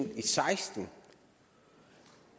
og seksten